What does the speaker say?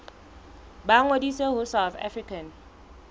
ba ngodise ho south african